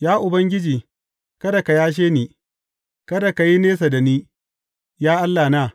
Ya Ubangiji, kada ka yashe ni; kada ka yi nesa da ni, ya Allahna.